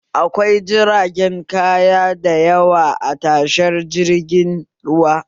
Akwai jiragen kaya da yawa a tashar jirgin ruwa